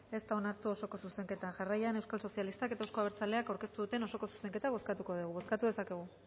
ez da onartu osoko zuzenketa jarraian euskal sozialistak eta euzko abertzaleak aurkeztu duten osoko zuzenketa bozkatuko dugu bozkatu dezakegu